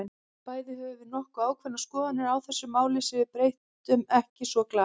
Bæði höfum við nokkuð ákveðnar skoðanir á þessu máli, sem við breytum ekki svo glatt.